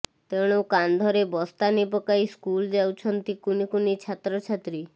ତେଣୁ କାନ୍ଧରେ ବସ୍ତାନୀ ପକାଇ ସ୍କୁଲ ଯାଉଛନ୍ତି କୁନି କୁନି ଛାତ୍ରଛାତ୍ରୀ